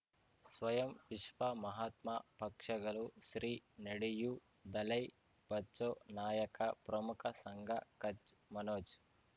ಸ್ವಯಂ ವಿಶ್ವ ಮಹಾತ್ಮ ಪಕ್ಷಗಳು ಶ್ರೀ ನಡೆಯೂ ದಲೈ ಬಚೌ ನಾಯಕ ಪ್ರಮುಖ ಸಂಘ ಕಚ್ ಮನೋಜ್